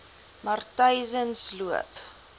matyzensloop